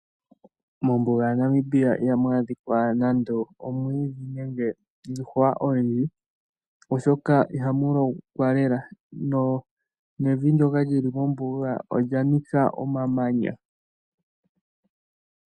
Mombuga yaNamibia ihamu adhika omwiidhi niihwa oyindji oshoka ihamu lokwa lela. Evi ndyoka lili mombuga olya nika omamanya.